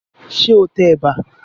Ṣé o tẹ ẹ̀bà?